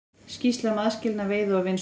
Skýrsla um aðskilnað veiða og vinnslu